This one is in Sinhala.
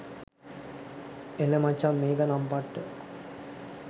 එල මචං මේක නම් පට්ට